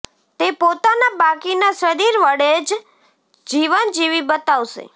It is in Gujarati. તે પોતાના બાકીના શરીર વડે જ જીવન જીવી બતાવશે